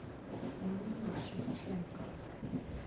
нине шевченко